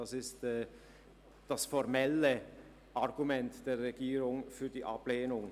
Das ist das formelle Argument der Regierung für die Ablehnung.